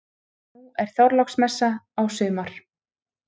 Nú er Þorláksmessa á sumar.